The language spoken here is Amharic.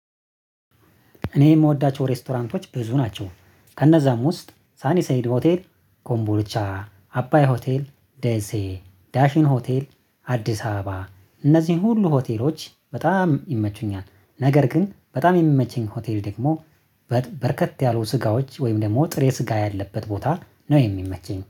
እኔ የምወዳቸው ሬስቶራንቶች ብዙ ናቸው። ከነዛም ውስጥ ሳኒ ሰይድ ሆቴል ኮምቦርቻ አባይ ሆቴል ደሴ ዳሽን ሆቴል አዲስ አበባ እነዚህን ሁሉ ሆቴሎች በጣም ይመቹኛል። ነገር ግን በጣም የሚመቸኝ ሆቴል ደግሞ በርከት ያሉ ስጋዎች ወይም ደግሞ ጥሬ ስጋ ያለበት ቦታ ነው የሚመቸኝ